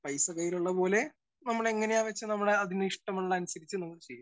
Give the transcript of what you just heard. Speaker 1 പൈസ കയ്യിലുള്ള പോലെ നമ്മൾ എങ്ങനെയാവച്ചാ നമ്മടെ അതിന് ഇഷ്ടമുള്ള അനുസരിച്ച് നമ്മൾ ചെയ്യും.